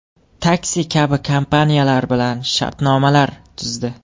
Taksi” kabi kompaniyalar bilan shartnomalar tuzdi.